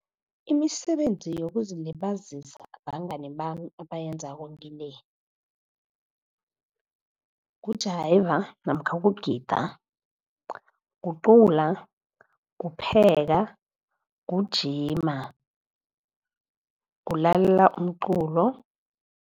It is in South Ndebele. Imisebenzi yokuzilibazisa abangani abayenzako ngile, kujayiva namkha kugida, kucula, kupheka, kujima, kulalela umculo.